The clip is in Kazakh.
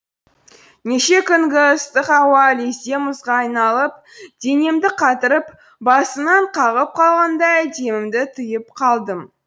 неше күнгі ыстық ауа лезде мұзға айналып денемді қатырып басымнан қағып қалғандай демімді тыйып қалдым